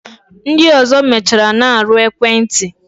Ndi ọzọ mechara na-arụ ekwenti